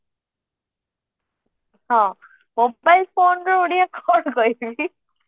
ହଁ mobile phoneର ଓଡିଆ କଣ କହିବି